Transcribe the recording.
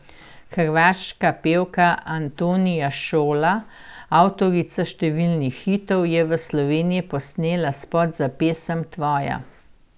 Hrvaška pevka Antonija Šola, avtorica številnih hitov, je v Sloveniji posnela spot za pesem Tvoja.